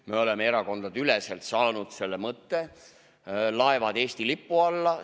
Me oleme erakondadeüleselt heaks kiitnud mõtte laevad Eesti lipu alla, tuua.